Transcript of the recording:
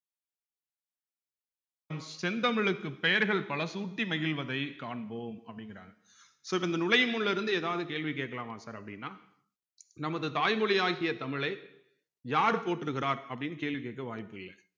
செந்தமிழுக்கு பெயர்கள் பல சூட்டி மகிழ்வதை காண்போம் அப்படிங்கிறாங்க so இப்ப இந்த நுழையும் முன்ல இருந்து ஏதாவது கேள்வி கேட்கலாமாங் sir அப்படின்னா நமது தாய்மொழியாகிய தமிழை யார் போற்றுகிறார் அப்படின்னு கேள்வி கேட்க வாய்ப்பில்ல